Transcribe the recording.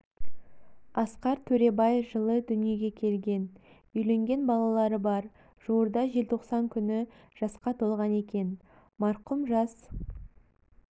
асқар төребай жылы дүниеге келген үйленген балалары бар жуырда желтоқсан күні жасқа толған екен марқұм жас